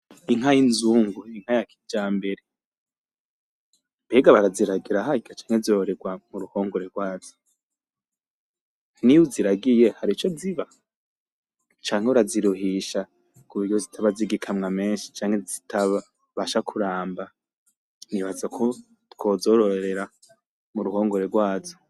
Inka y'inzungu, Inka yakijambere. Mbega baraziragira harya? canke zororerwa muruhongore rwazo. N'iyuziragiye harico ziba? Canke uraziruhisha kuburyo zitaba zigikamwa menshi ,canke zitabasha kuramba ! Nibaza ko twozororera muruhongore rwazo.